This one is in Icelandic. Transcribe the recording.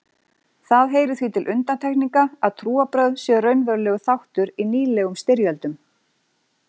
Það heyrir því til undantekninga að trúarbrögð séu raunverulegur þáttur í nýlegum styrjöldum.